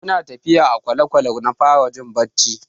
Muna tafiya a kwale-kwale na fara jin bacci.